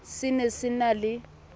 se ne se na le